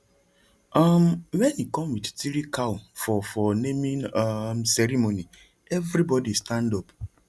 um when he come with three cow for for naming um ceremony everybody stand up